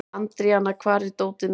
Andríana, hvar er dótið mitt?